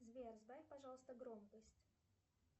сбер сбавь пожалуйста громкость